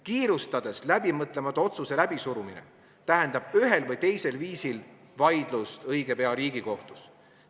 Kiirustades läbimõtlemata otsuse läbisurumine tähendab ühel või teisel viisil vaidlust õige pea Riigikohtus.